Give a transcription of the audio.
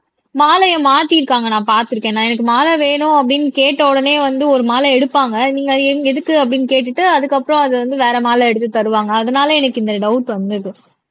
மாலையை மாத்திருக்காங்க நான் பார்த்திருக்கேன் நான் எனக்கு மாலை வேணும் அப்படின்னு கேட்ட உடனே வந்து ஒரு மாலை எடுப்பாங்க நீங்க எங் எதுக்கு அப்படின்னு கேட்டுட்டு அதுக்கு அப்புறம் அதை வந்து வேற மாலை எடுத்துத் தருவாங்க அதனால எனக்கு இந்த டவுட் வந்தது